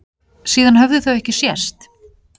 Síðan höfðu þau ekki sést.